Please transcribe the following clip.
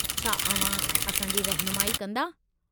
छा अव्हां असांजी रहिनुमाई कंदा?